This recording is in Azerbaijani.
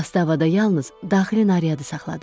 Zastavada yalnız daxili nariyadı saxladım.